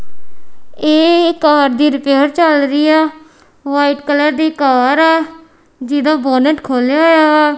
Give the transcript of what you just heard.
ਇਹ ਕਾਰ ਦੀ ਰਿਪੇਅਰ ਚੱਲ ਰਹੀ ਆ ਵਾਈਟ ਕਲਰ ਦੀ ਕਾਰ ਆ ਜਿਹਦਾ ਬੋਨਟ ਖੋਲਿਆ ਹੋਇਆ ਵਾ।